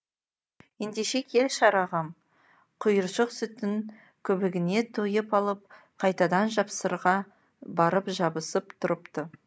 ендеше кел шырағым құйыршық сүттің көбігіне тойып алып қайтадан жапсырға барып жабысып тұрыпты